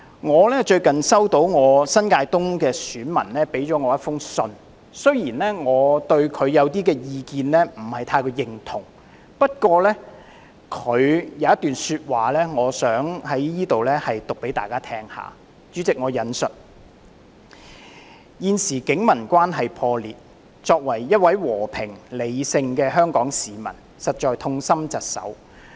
我最近收到一封來自我選區新界東的選民的信件，雖然我不太認同他的部分意見，不過他有一段說話，我想在此讀給大家聽："現時警民關係破裂，作為一位和平、理性的香港市民實在痛心疾首。